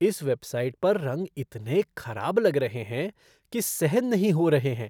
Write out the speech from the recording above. इस वेबसाइट पर रंग इतने खराब लग रहे हैं कि सहन नहीं हो रहे हैं।